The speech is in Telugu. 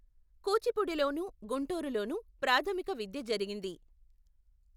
కూచిపూడి లోను, గుంటూరు లోను, ప్రాథమిక విద్య జరిగింది.